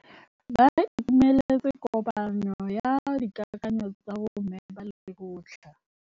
Ba itumeletse kôpanyo ya dikakanyô tsa bo mme ba lekgotla.